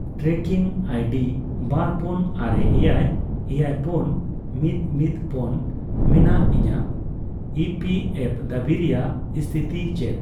Trekking ID ᱵᱟᱨ ᱯᱳᱱ ᱟᱨᱮ ᱮᱭᱟᱭ ᱮᱭᱟᱭ ᱯᱳᱱ ᱢᱤᱫ ᱢᱤᱫ ᱯᱳᱱ ᱢᱮᱱᱟᱜ ᱤᱧᱟᱹᱜ ᱤᱯᱤᱮᱷᱳ ᱫᱟᱹᱵᱤ ᱨᱮᱭᱟᱜ ᱥᱚᱛᱷᱤᱛᱤ ᱪᱮᱫ ?